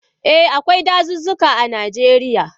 Eh, akwai dazuzzuka a Najeriya.